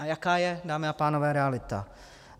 A jaká je, dámy a pánové, realita?